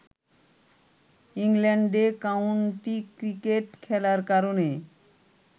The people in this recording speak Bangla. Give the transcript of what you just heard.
ইংল্যান্ডে কাউন্টি ক্রিকেট খেলার কারণে